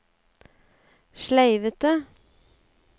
sleivete